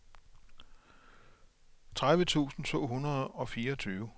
tredive tusind to hundrede og fireogtyve